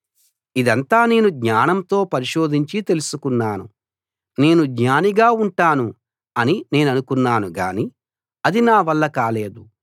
ఇదంతా నేను జ్ఞానంతో పరిశోధించి తెలుసుకున్నాను నేను జ్ఞానిగా ఉంటాను అని నేననుకున్నాను గాని అది నా వల్ల కాలేదు